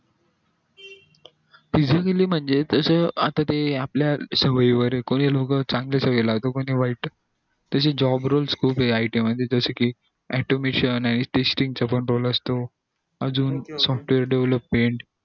physically म्हणजे ते तसं आपल्या सवयी वर ये कोणी लोक चांगल्या सवयी लावत कोणी वाईट तशी job role खूप ये it मध्ये जशे कि automation अजून software development